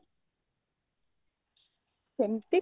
ସେମତି